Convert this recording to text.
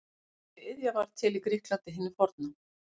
Þessi iðja varð til í Grikklandi hinu forna.